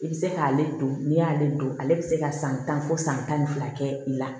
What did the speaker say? I bɛ se k'ale don n'i y'ale don ale bɛ se ka san tan fɔ san tan ni fila kɛ i la